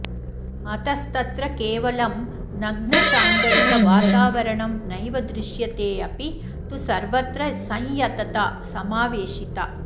अतस्तत्र केवलं नग्नशाङ्गरिक वातावरणं नैव दृश्यतेऽपि तु सर्वत्र संयतता समावेशिता